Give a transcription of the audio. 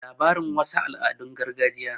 labarin wasu al'adun gargajiya